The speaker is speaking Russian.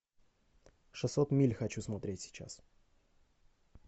шестьсот миль хочу смотреть сейчас